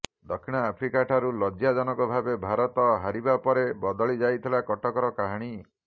ଦକ୍ଷିଣ ଆଫ୍ରିକାଠାରୁ ଲଜ୍ଜାଜନକ ଭାବେ ଭାରତ ହାରିବା ପରେ ବଦଳି ଯାଇଥିଲା କଟକର କାହାଣୀ